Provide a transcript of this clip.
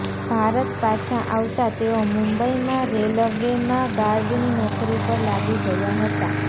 ભારત પાછા આવતાં તેઓ મુંબઈમાં રેલવેમાં ગાર્ડની નોકરી પર લાગી ગયા હતા